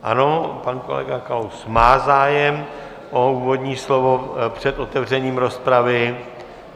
Ano, pan kolega Kalous má zájem o úvodní slovo před otevřením rozpravy.